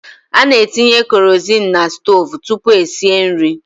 Ana etinye kerozinu n'stoovu tụpụ esie nri.